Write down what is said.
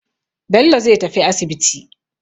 Bello zai tafi asibiti.